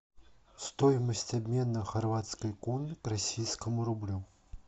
стоимость обмена хорватской куны к российскому рублю